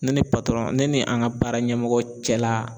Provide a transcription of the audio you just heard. Ne ni patɔrɔn , ne ni an ka baara ɲɛmɔgɔ cɛla